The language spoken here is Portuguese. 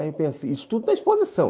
Aí eu pensei, isso tudo na exposição.